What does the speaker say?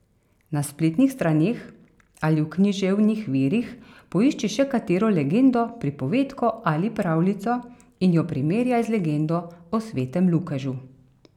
Na spletnih straneh ali v književnih virih poišči še katero legendo, pripovedko ali pravljico in jo primerjaj z legendo o svetem Lukežu.